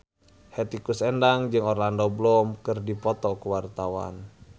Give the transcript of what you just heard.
Hetty Koes Endang jeung Orlando Bloom keur dipoto ku wartawan